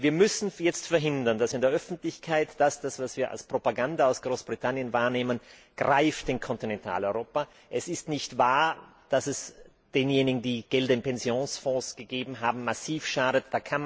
Wir müssen jetzt verhindern, dass in der Öffentlichkeit das, was wir als Propaganda aus Großbritannien wahrnehmen, in Kontinentaleuropa greift. Es ist nicht wahr, dass es denjenigen, die Gelder in Pensionsfonds gegeben haben, massiv schadet.